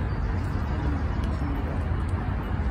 keipangae chemotherapy.